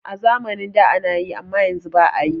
A zamanin da anayi amma yanzu ba'a yi.